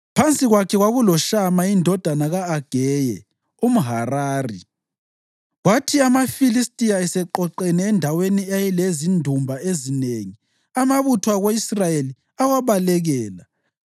Phansi kwakhe kwakuloShama indodana ka-Ageye umHarari. Kwathi amaFilistiya eseqoqene endaweni eyayilezindumba ezinengi, amabutho ako-Israyeli awabalekela.